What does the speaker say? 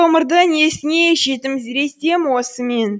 ғұмырды несіне жетімсіретем осы мен